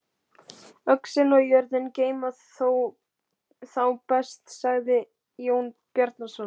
Öxin og jörðin geyma þá best, sagði Jón Bjarnason.